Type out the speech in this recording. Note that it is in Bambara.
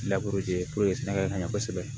sɛnɛgali ka ɲɛ kosɛbɛ